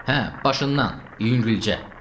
Hə, başından, yüngülcə.